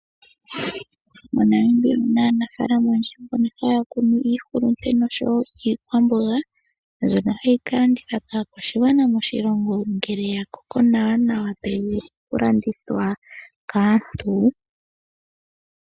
MoNamibia omuna aanafaalama oyendji mbono mba haya kunu iihulunde nosho woo iikwamboga mbyono hayi ka landithwa kaakwashigwana moshilongo ngele yakoko nawa nawa tayi vulu okulandithwa kaantu.